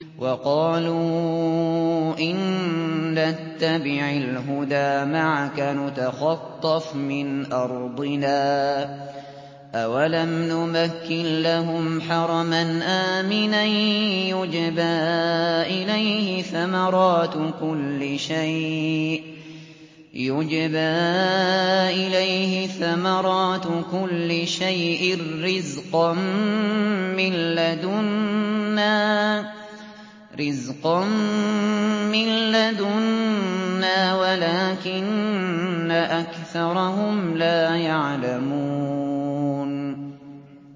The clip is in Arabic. وَقَالُوا إِن نَّتَّبِعِ الْهُدَىٰ مَعَكَ نُتَخَطَّفْ مِنْ أَرْضِنَا ۚ أَوَلَمْ نُمَكِّن لَّهُمْ حَرَمًا آمِنًا يُجْبَىٰ إِلَيْهِ ثَمَرَاتُ كُلِّ شَيْءٍ رِّزْقًا مِّن لَّدُنَّا وَلَٰكِنَّ أَكْثَرَهُمْ لَا يَعْلَمُونَ